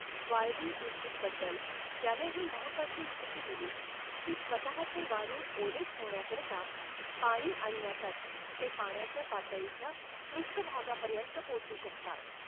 वाळवी उधई बद्दल त्याने ही महत्वाची माहिती दिली की स्वतःचे वारूळ ओले ठेवण्याकरता पाणी आणण्यासाठी ते पाण्याच्या पातळीच्या पृष्ठभागापर्यंत पोचू शकतात.